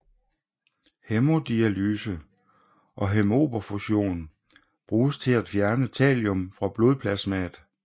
Hæmodialyse og hæmoperfusion bruges til at fjerne thallium fra blodplasmaet